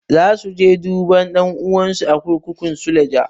Za su je duba ɗan'uwansu a kurkukun suleja.